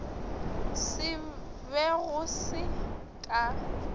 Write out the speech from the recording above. se be go se ka